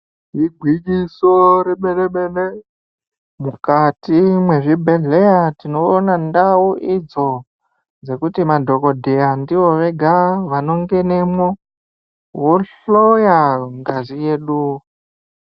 Igwinyiso remene-mene, mukati mwezvibhedhleya tinoona ndau idzo dzekuti madhogodheya ndivo vega vanongenemwo, vohloya ngazi yedu.